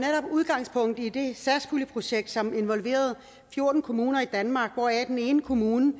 udgangspunkt i det satspuljeprojekt som involverede fjorten kommuner i danmark den ene kommune